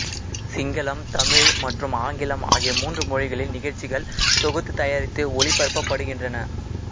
சிங்களம் தமிழ் மற்றும் ஆங்கிலம் ஆகிய மூன்று மொழிகளில் நிகழ்ச்சிகள் தொகுத்துதயாரித்து ஒளிபரப்பப்படுகின்றன